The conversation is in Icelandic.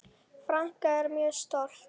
Frænka er mjög stolt.